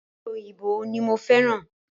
Ope òyìnbó ní mo fẹ́ràn